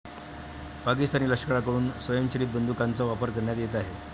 पाकिस्तानी लष्कराकडून स्वयंचलित बंदूकांचा वापर करण्यात येत आहे.